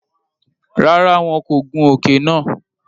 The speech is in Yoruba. Rárá, wọn kò gùn òke nàá